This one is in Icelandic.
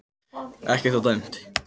Ekkert var dæmt